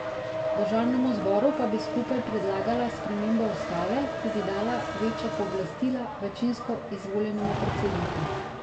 Državnemu zboru pa bi skupaj predlagala spremembo ustave, ki bi dala večja pooblastila večinsko izvoljenemu predsedniku.